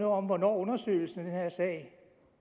om hvornår undersøgelsen af den her sag